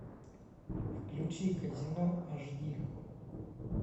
включи казино аш ди